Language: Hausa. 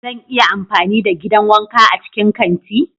Zan iya amfani da gidan wanka a cikin kanti?